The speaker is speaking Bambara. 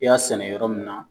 I y'a sɛnɛ yɔrɔ min na